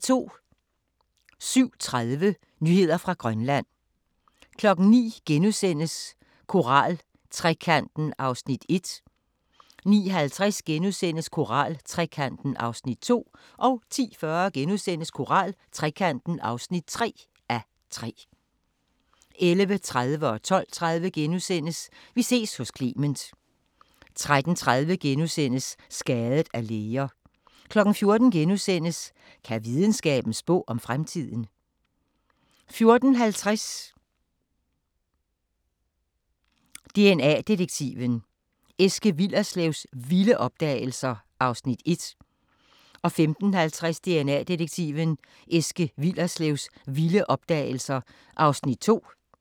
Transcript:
07:30: Nyheder fra Grønland 09:00: Koraltrekanten (1:3)* 09:50: Koraltrekanten (2:3)* 10:40: Koraltrekanten (3:3)* 11:30: Vi ses hos Clement * 12:30: Vi ses hos Clement * 13:30: Skadet af læger * 14:00: Kan videnskaben spå om fremtiden? (2:4)* 14:50: DNA Detektiven – Eske Willerslevs vilde opdagelser (1:3) 15:50: DNA Detektiven – Eske Willerslevs vilde opdagelser (2:3)